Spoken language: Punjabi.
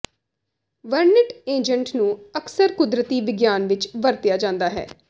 ਵਰਣਿਤ ਏਜੰਟ ਨੂੰ ਅਕਸਰ ਕੁਦਰਤੀ ਵਿਗਿਆਨ ਵਿੱਚ ਵਰਤਿਆ ਜਾਂਦਾ ਹੈ